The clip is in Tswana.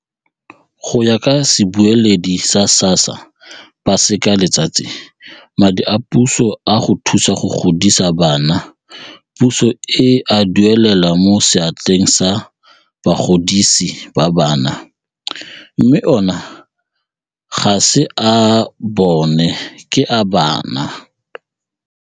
Go ya ka sebueledi sa SASSA Paseka Letsatsi, madi a puso a go thusa go godisa bana puso e a duelela mo seatleng sa bagodisi ba bana, mme ona ga se a bona ke a bana.